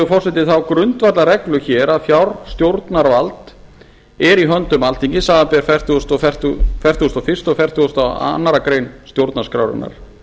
forseti þá grundvallarreglu hér að fjárstjórnarvald er í höndum alþingis samanber fertugustu og fyrsta og fertugasta og aðra grein stjórnarskrárinnar